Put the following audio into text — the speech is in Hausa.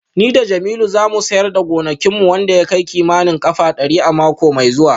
Ni da Jamiu za mu siyar da gonakin mu wanda ya kai kimanin kafa dari a mako mai zuwa